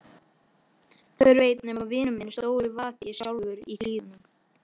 Hver veit nema vinur minn stóri vaki sjálfur í Hlíðunum.